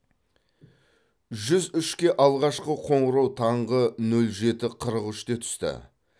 жүз үшке алғашқы қоңырау таңғы нөл жеті қырық үште түсті